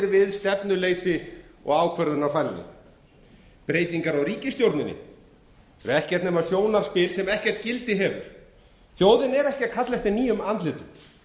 við stefnuleysi og ákvörðunarfælni breytingar á ríkisstjórninni eru ekkert nema sjónarspil sem ekkert gildi hefur þjóðin er ekki að kalla eftir nýjum andlitum